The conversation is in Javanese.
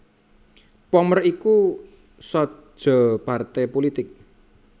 Pommer iku saja partai pulitik